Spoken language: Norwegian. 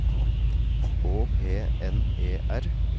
Å P N E R